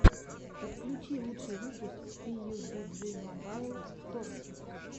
подключи лучший выпуск пиюбиджи мобайл торти